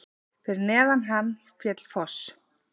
Fyrir neðan hann féll foss.